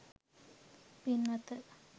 පින්වත,